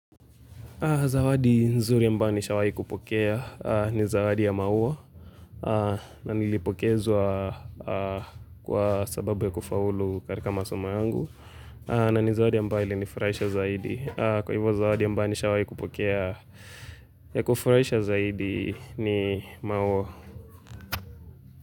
Zawadi nzuri ambayo nisha wahi kupokea ni zawadi ya maua na nilipokezwa kwa sababu ya kufaulu katika masomo yangu na nizawadi ambayo ili nifurahisha zaidi. Kwa hivo zawadi ambayo nisha wahi kupokea ya kufurahisha zaidi ni maua.